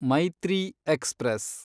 Maitree express